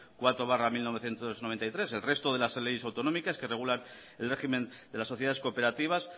cuatro barra mil novecientos noventa y tres el resto de las leyes autonómicas que regulan el régimen de las sociedades cooperativas